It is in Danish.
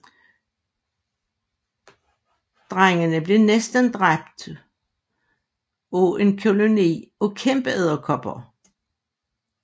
Drengene bliver næsten dræbt af en koloni af kæmpeedderkopper